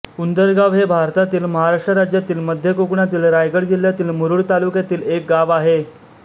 उंदरगाव हे भारतातील महाराष्ट्र राज्यातील मध्य कोकणातील रायगड जिल्ह्यातील मुरूड तालुक्यातील एक गाव आहे